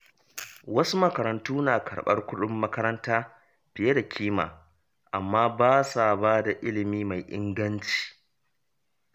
Wasu makarantu na karɓar kuɗin makaranta fiye da kima, amma ba sa ba da ilimi mai inganci.